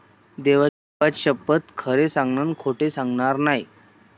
देवाशपथ खरे सांगेन खोट सांगणार नाही.